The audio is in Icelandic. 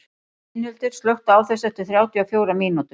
Steinhildur, slökktu á þessu eftir þrjátíu og fjórar mínútur.